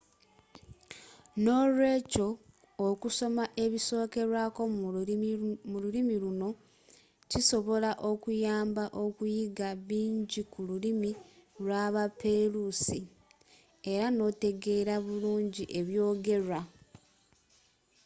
n'olwekyo okusoma ebisokerwako mu olulimi luno kisobola okuyamba okuyiga bingi ku lulimi lwa baperusi era n'otegeera bulungi eby'ogerwa